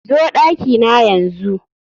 zo dakina yanzu